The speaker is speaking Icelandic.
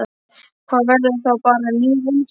Það verður þá bara ný reynsla.